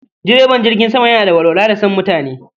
Direban jirgin sama yana da walwala da san mutani